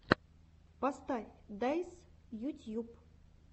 поставь дайс ютьюб